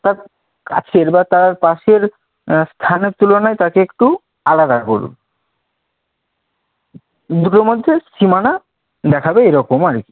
তার কাছের বা তার পাশের আহ স্থানের তুলনায় তাকে একটু আলাদা করবে। দুটোর মধ্যে সীমানা দেখাবে এরকমও আর কি।